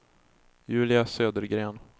Julia Södergren